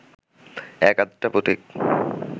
এক-আধটা পথিক